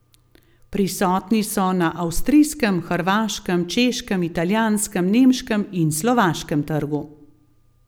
Prisotni so na avstrijskem, hrvaškem, češkem, italijanskem, nemškem in slovaškem trgu.